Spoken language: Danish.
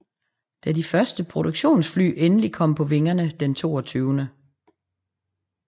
Da de første produktionsfly endelig kom på vingerne den 22